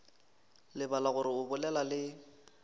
lebala gore o bolela le